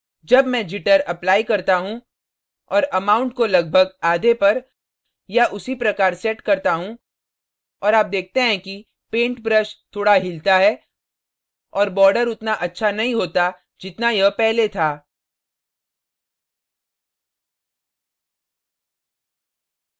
अब मैं jitter apply apply करता हूँ और amount को लगभग आधे पर या उसी प्रकार set करता हूँ और आप देखते हैं कि paint brush थोड़ा हिलता है और border उतना अच्छा नहीं होता जितना यह पहले था